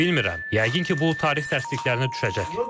Bilmirəm, yəqin ki, bu tarix dərsliklərinə düşəcək.